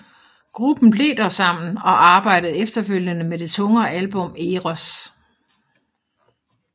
Gruppen blev dog sammen og arbejdede efterfølgende med det tungere album Eros